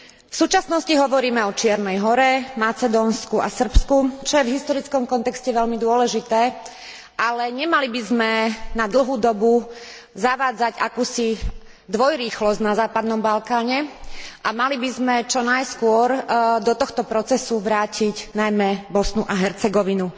V súčasnosti hovoríme o Čiernej Hore, Macedónsku a Srbsku, čo je v historickom kontexte veľmi dôležité, ale nemali by sme na dlhú dobu zavádzať akúsi dvojrýchlosť na západnom Balkáne a mali by sme čo najskôr do tohto procesu vrátiť najmä Bosnu a Hercegovinu,